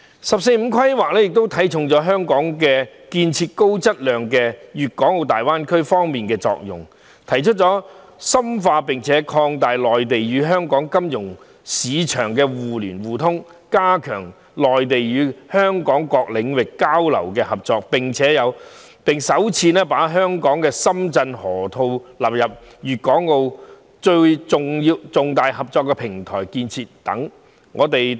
"十四五"規劃亦看重香港在高質量建設粤港澳大灣區方面的作用，提出深化並擴大內地與香港金融市場互聯互通，加強內地與香港各領域交流合作，並首次把深港河套納入粤港澳重大合作平台建設等。